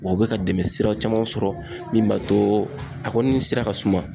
Wa u be ka dɛmɛ sira caman sɔrɔ min b'a to a kɔni sira ka suma